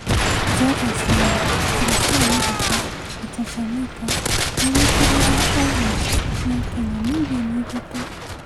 Jairus Ngaah, Teresiah Matheka na Chacha Mwita, nĩ wĩkĩrirwo ũmaa nĩ akenya mirioni ithatũ,